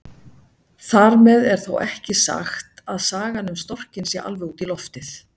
Þar með er þó ekki sagt að sagan um storkinn sé alveg út í loftið.